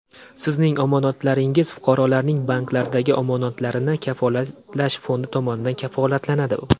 Sizning omonatlaringiz Fuqarolarning banklardagi omonatlarini kafolatlash fondi tomonidan kafolatlanadi.